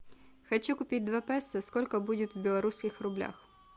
хочу купить два песо сколько будет в белорусских рублях